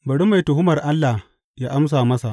Bari mai tuhumar Allah yă amsa masa.